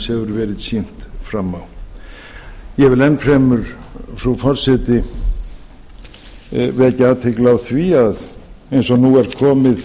verið sýnt fram á ég vil enn fremur frú forseti vekja athygli á því að eins og nú er komið